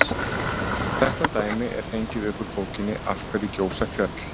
Þetta dæmi er fengið upp úr bókinni Af hverju gjósa fjöll?